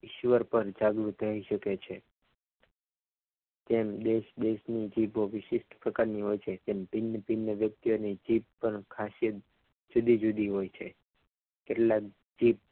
ઈશ્વર પણ જાગ્રુત શકે છે ઇસ દેશની જીબો વિશિષ્ટ પ્રકારની હોય છે તેમ ભિન્ન ભિન્ન વ્યક્તિઓને જીભ પણ ખાંસી એવી જુદી જુદી હોય છે કેટલાક જીભ